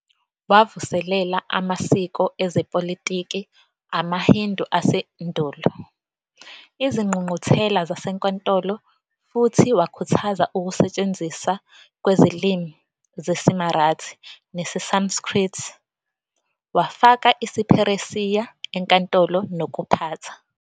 Wavuselela amasiko ezepolitiki amaHindu asendulo, izingqungquthela zasenkantolo futhi wakhuthaza ukusetshenziswa kwezilimi zesiMarathi nesiSanskrit, wafaka isiPheresiya enkantolo nokuphatha.